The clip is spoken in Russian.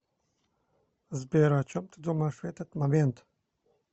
сбер о чем ты думаешь в этот момент